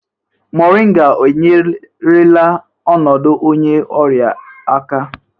Moringa enyerela ọnọdụ onye ọrịa aka?